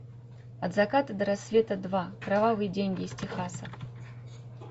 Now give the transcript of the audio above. от заката до рассвета два кровавые деньги из техаса